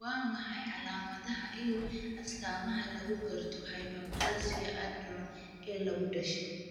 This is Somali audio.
Waa maxay calaamadaha iyo astaamaha lagu garto hyperplasia adrenal ee lagu dhasho?